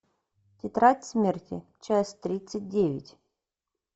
тетрадь смерти часть тридцать девять